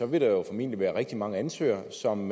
vil der jo formentlig være rigtig mange ansøgere som